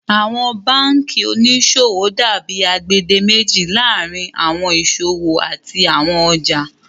Awọn bankí oníṣọwọ dàbí agbèdémèjì laárín awọn iṣọwọ àti awọn ọjà.